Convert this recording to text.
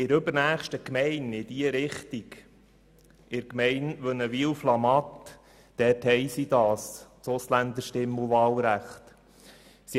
In der übernächsten Gemeinde von hier aus, in der Gemeinde WünnewilFlamatt, wurde so ein Ausländerstimm- und Wahlrecht eingeführt.